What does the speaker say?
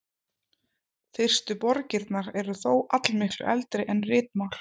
Fyrstu borgirnar eru þó allmiklu eldri en ritmál.